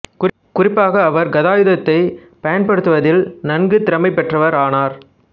குறிப்பாக அவர் கதாயுதத்தைப் பயன்படுத்துவதில் நன்கு திறமை பெற்றவர் ஆனார்